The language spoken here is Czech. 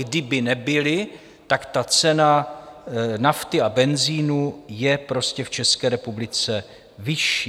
Kdyby nebyly, tak ta cena nafty a benzinu je prostě v České republice vyšší.